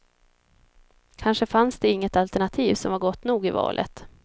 Kanske fanns det inget alternativ som var gott nog i valet.